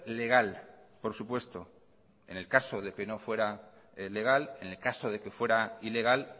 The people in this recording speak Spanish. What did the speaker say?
legal por supuesto en el caso de que no fuera legal en el caso de que fuera ilegal